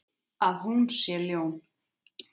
Að hún sé ljón.